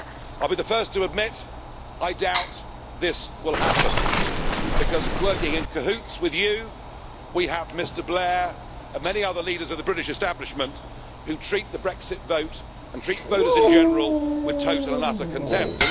I'd be the first to admit that I doubt this will happen, because working in cahoots with you we have Mr Blair and many other leaders of the British establishment who treat the Brexit vote, and treat voters in general, with total and utter contempt.